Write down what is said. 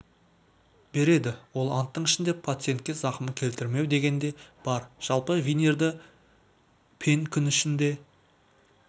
береді ол анттың ішінде пациентке зақым келтірмеу деген де бар жалпы винирді пен күн ішінде